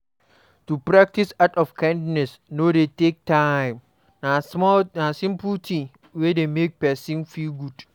To practice act of kindness no de take time na simple thing wey de make persin feel good